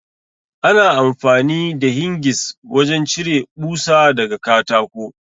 Ana amfani da Hingis wajen cire ɓusa daga katako.